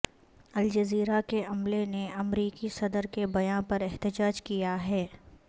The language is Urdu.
الجزیرہ کے عملے نے امریکی صدر کے بیان پر احتجاج کیا ہے